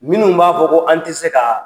Minnu b'a fɔ ko an ti se kaa